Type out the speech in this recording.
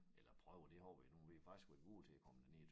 Eller prøver det har vi nu vi har faktisk været gode til at komme derned